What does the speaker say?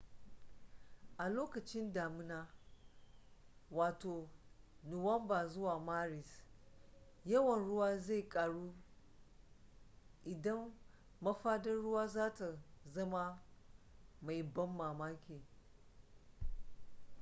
a lokacin damuna nuwamba zuwa maris yawan ruwan zai karu inda mafaɗar ruwa za ta zama mai ban mamaki